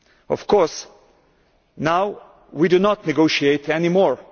Of course, now we do not negotiate any more.